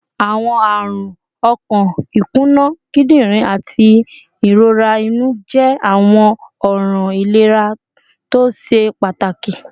Awọn arun ọkan, ikuna kidirin, ati irora inu jẹ awọn ọran ilera to ṣe pataki